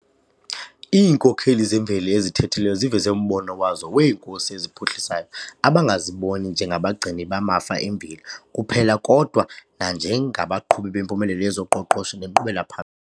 Iinkokheli zemveli ezithethileyo ziveze umbono wazo 'weenkosi eziphuhlisayo', abangaziboni njengabagcini bamafa emveli kuphela kodwa nanjengabaqhubi bempumelelo yezoqoqosho nenkqubela pha.